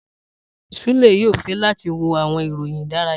Sule yoo fẹ lati wo awọn iroyin idaraya.